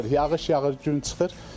Yağış yağır, gün çıxır.